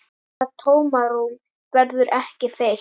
Það tómarúm verður ekki fyllt.